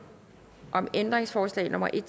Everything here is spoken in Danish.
om ændringsforslag nummer en